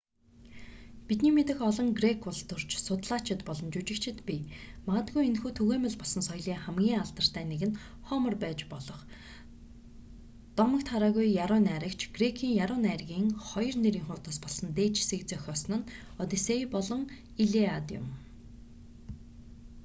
бидний мэдэх олон грек улс төрч судлаачид болон жүжигчид бий магадгүй энэхүү түгээмэл болсон соёлын хамгийн алдартай нэг нь хомер байж болох дотогт хараагүй яруу найрагч грекийн яруу найргын 2 нэрийн хуудас болсон дээжисийг зохиосон нь оддисей болон илиад юм